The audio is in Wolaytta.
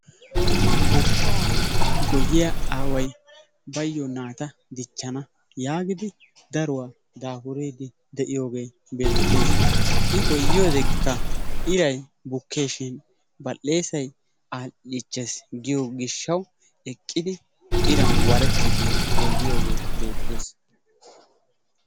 Goshshaa goyyiyaa aaway bayo naata dichchana yaagidi daruwaa daafuriiddi de'iyoogee beettees. I goyyiyoodeekkaa iray bukkeeshin badhdheesay aadhdhiichchees giyo gishshawu eqqidi iran warettiiddi goyyiyoogee beettees.